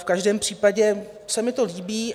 V každém případě se mi to líbí.